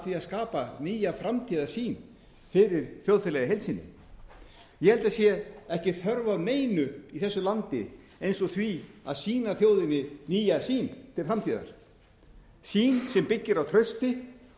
því að skapa nýja framtíðarsýn fyrir þjóðfélagið í heild sinni ég held að það sé ekki þörf á neinu í þessu landi eins og því að sýna þjóðinni nýja sýn til framtíðar sýn sem byggir á trausti